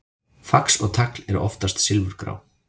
Fax og tagl eru oftast silfurgrá.